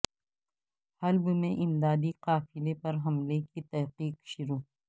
حلب میں امدادی قافلے پر حملے کی تحقیق شروع